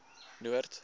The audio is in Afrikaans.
noord